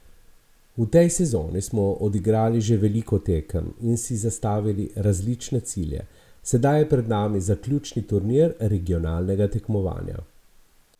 V tej sezoni smo odigrali že veliko tekem in si zastavili različne cilje, sedaj je pred nami zaključni turnir regionalnega tekmovanja.